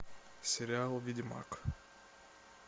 сериал ведьмак